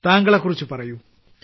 താങ്കളെകുറിച്ച് പറയൂ